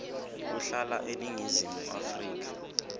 kuhlala eningizimu afrika